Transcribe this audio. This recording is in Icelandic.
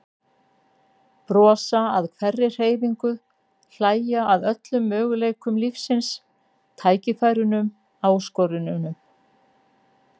Brosa að hverri hreyfingu, hlæja að öllum möguleikum lífsins, tækifærunum, áskorununum.